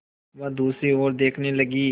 वह दूसरी ओर देखने लगी